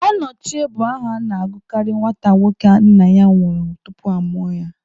Ọnọchie bụ aha a na-agụkarị nwata nwoke nna ya nwụrụ tupu amụọ ya.